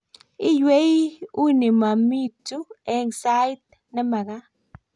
iywei uni momaitu eng' sait ne mekat